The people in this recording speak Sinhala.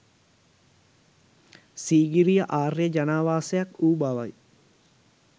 සීගිරිය ආර්ය ජනාවාසයක් වූ බවයි